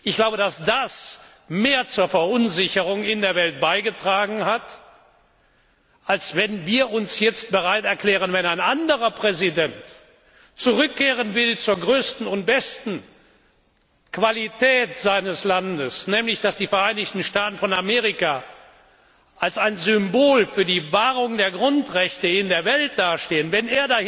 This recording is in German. Ich glaube, dass das mehr zur Verunsicherung in der Welt beigetragen hat, als wenn wir uns jetzt bereit erklären, wenn ein anderer Präsident zur größten und besten Qualität seines Landes zurückkehren will, nämlich dass die Vereinigten Staaten von Amerika als ein Symbol für die Wahrung der Grundrechte in der Welt dastehen wenn